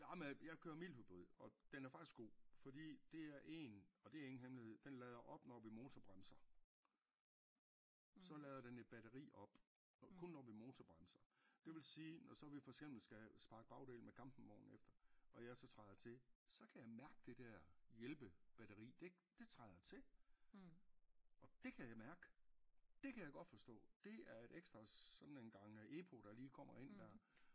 Nårh men jeg kører mildhybrid og den er faktisk god fordi det er en og det er ingen hemmelighed den lader op når vi motorbremser så lader den et batteri op og kun når vi motorbremser det vil sige når så vi for eksempel skal sparke bagdel med campingvogn efter og jeg så træder til så kan jeg mærke det der hjælpebatteri det det træder til og det kan jeg mærke det kan jeg godt forstå det er et ekstra sådan en gang øh epo der lige kommer ind der